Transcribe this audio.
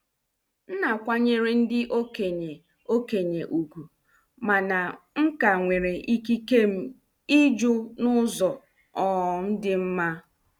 M na-akwanyere ndị okenye okenye ùgwù, mana m ka nwere ikike m ịjụ n'ụzọ um dị mma.